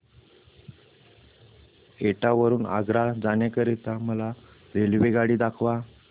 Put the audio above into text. एटा वरून आग्रा जाण्या करीता मला रेल्वेगाडी दाखवा